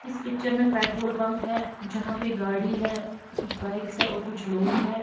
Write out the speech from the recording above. इस पिक्चर में petrol pump है जहा पर गाड़ी है कुछ बाइक्स है कुछ लोग है।